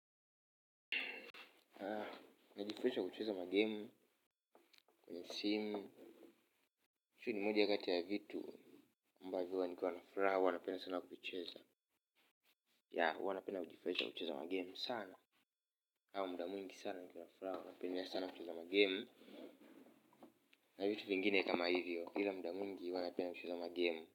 Najifurahisha kwa kucheza magemu, kwenye simu hizi ni moja kati ya vitu ambavyo huwa nikiwa na furaha huwa napenda sana kuicheza ya huwa napenda sana kujifurahisha kwa kucheza magemu sana au muda mwingi sana nikiwa na furaha huwa napendea sana kucheza magemu na vitu vingine kama hivyo ila muda mwingi huwa napenda kucheza magemu.